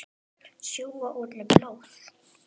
Sjúga úr henni blóðið.